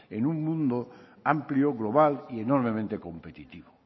en un mundo amplio global y enormemente competitivo